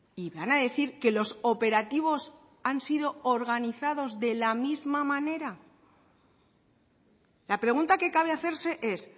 y van a decir que los operativos han sido organizados de la misma manera la pregunta que cabe hacerse es